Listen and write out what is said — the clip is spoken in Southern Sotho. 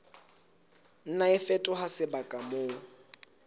nna a fetoha sebaka moo